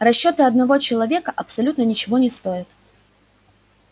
расчёты одного человека абсолютно ничего не стоят